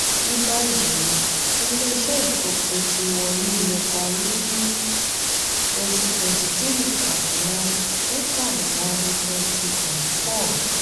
nibayi ilé-iṣẹ́ ifopo tí warri yẹ parí ni twwnty twenty three kaduna ni kaduna ni twenty twenty four.